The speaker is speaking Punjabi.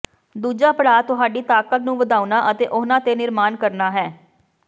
ਦੂਜਾ ਪੜਾਅ ਤੁਹਾਡੀ ਤਾਕਤ ਨੂੰ ਵਧਾਉਣਾ ਅਤੇ ਉਹਨਾਂ ਤੇ ਨਿਰਮਾਣ ਕਰਨਾ ਹੈ